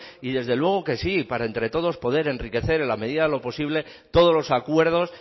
y desde luego que sí para entre todos poder enriquecer en la medida de lo posible todos los acuerdos